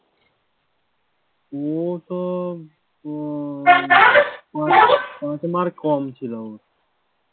উ তো mark কম ছিল ওর,